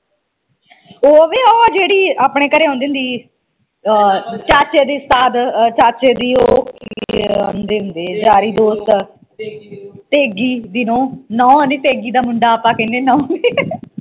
ਉਹ ਵੇ ਉਹ ਜਿਹੜੀ ਆਪਣੇ ਘਰੇ ਆਉਂਦੀ ਹੁੰਦੀ ਹੀ ਆ ਚਾਚੇ ਦੀ ਚਾਚੇ ਦੀ ਉਹ ਕੀ ਆਂਦੇ ਹੁੰਦੇ ਯਾਰੀ ਦੋਸਤ ਤੇਗੀ ਦੀ ਨੂੰਹ, ਨੂੰਹ ਨਹੀਂ ਤੇਗੀ ਦਾ ਮੁੰਡਾ ਆਪਾ ਕਹਿਣੇ ਨੂੰਹ ਨੀ